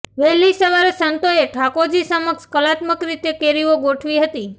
વહેલી સવારે સંતોએ ઠાકોરજી સમક્ષ કલાતમ્ક રીતે કેરીઓ ગોઠવી હતી